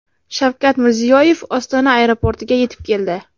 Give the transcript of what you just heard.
Shavkat Mirziyoyev Ostona aeroportiga yetib keldi.